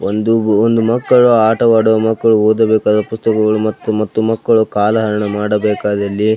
ಒಂದು ಒಂದು ಮಕ್ಕಳು ಆಟವಾಡುವ ಮಕ್ಕಳು ಓದಬೇಕಾದ ಪುಸ್ತಕಗಳು ಮತ್ತು ಮಕ್ಕಳು ಕಾಲಹರಣ ಮಾಡಬೇಕಾದಲ್ಲಿ --